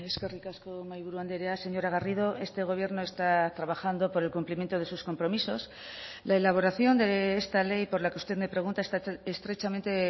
eskerrik asko mahaiburu andrea señora garrido este gobierno está trabajando por el cumplimiento de sus compromisos la elaboración de esta ley por la que usted me pregunta está estrechamente